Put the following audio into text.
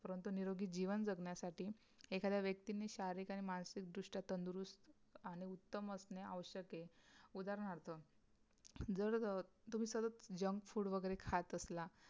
परंतु निरोगी जीवन जगण्यासाठी एखाद्या व्यक्तीने शारीरिक आणि मानसिक दृष्ट्या उत्तम असणे आवश्यक आहे उदाहरणार्थ जर तुम्ही सगळे JUNK FOOD वगैरे खात असला